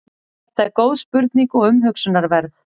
þetta er góð spurning og umhugsunarverð